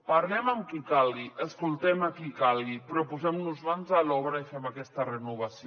parlem amb qui calgui escoltem a qui calgui però posem nos mans a l’obra i fem aquesta renovació